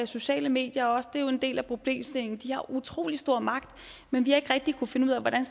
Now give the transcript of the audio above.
sociale medier og det er jo en del af problemstillingen de har utrolig stor magt men vi har ikke rigtig kunnet finde ud af hvordan